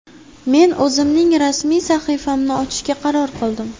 Men o‘zimning rasmiy sahifamni ochishga qaror qildim.